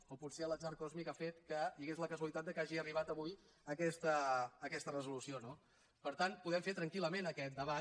o potser l’atzar còsmic ha fet que hi hagués la casualitat que hagi arribat avui aquesta resolució no per tant podem fer tranquil·lament aquest debat